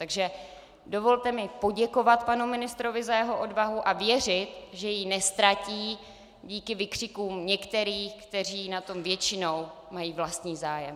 Takže dovolte mi poděkovat panu ministrovi za jeho odvahu a věřit, že ji neztratí díky výkřikům některým, kteří na tom většinou mají vlastní zájem.